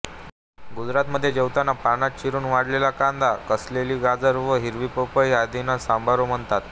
गुजराथमध्ये जेवताना पानात चिरून वाढलेल्या कांदा किसलेले गाजर वा हिरवी पपई आदींना सांबारो म्हणतात